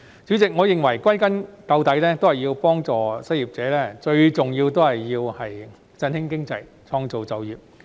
主席，我認為歸根究底，要幫助失業者，最重要的是振興經濟、創造就業。